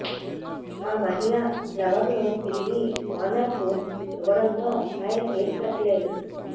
ఆ మహిళ ప్లవర్ ను తిరిగి ఓనర్ కు ఇవ్వడంతో ఆయన కేసు పెట్టలేదు